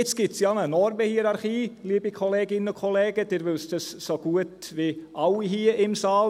Nun gibt es ja eine Normenhierarchie, liebe Kolleginnen und Kollegen, Sie wissen dies so gut wie alle hier im Saal.